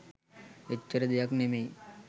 එච්චර දෙයක් නෙවෙයි.